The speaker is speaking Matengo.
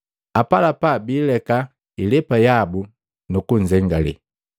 Apalapa biileka ilepa yabu, nukunzengale.